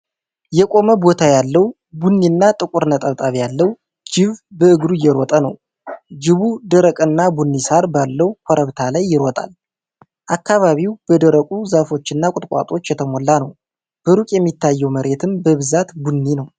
የቆመ ቦታ ያለው፣ ቡኒና ጥቁር ነጠብጣብ ያለው ጅብ በእግሩ እየሮጠ ነው። ጅቡ ደረቅና ቡኒ ሳር ባለው ኮረብታ ላይ ይሮጣል፤ አካባቢው በደረቁ ዛፎችና ቁጥቋጦዎች የተሞላ ነው። በሩቅ የሚታየው መሬትም በብዛት ቡኒ ነው።